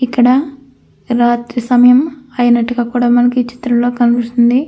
ఇక్కడ రాత్రి సమయం అయినట్టుగ కూడా మనకు ఈ చిత్రంలో కనిపిస్తుంది.